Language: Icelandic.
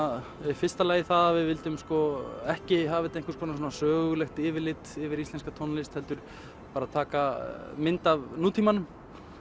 í fyrsta lagi að við myndum ekki hafa þetta sem sögulegt yfirlit yfir íslenska tónlist heldur bara taka mynd af nútímanum